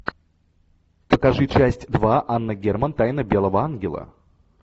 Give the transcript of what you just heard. покажи часть два анна герман тайна белого ангела